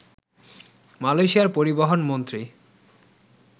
মালয়েশিয়ার পরিবহন মন্ত্রী